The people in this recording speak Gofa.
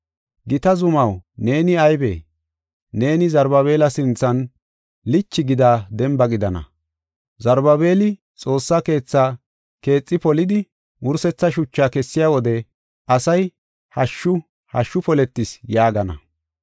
Gita zumaw, neeni aybee? Neeni Zarubaabela sinthan lichi gida demba gidana. Zarubaabeli xoossa keethaa keexi polidi, wursetha shuchaa kessiya wode asay, ‘Hashshu! Hashshu poletis’ ” yaagana.